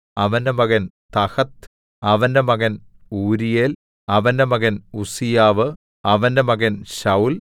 അവന്റെ മകൻ തഹത്ത് അവന്റെ മകൻ ഊരീയേൽ അവന്റെ മകൻ ഉസ്സീയാവ് അവന്റെ മകൻ ശൌൽ